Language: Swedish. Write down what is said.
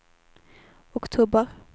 oktober